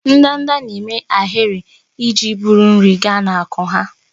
Ndanda na-eme ahịrị iji buru nri gaa n'akwụ́ ha.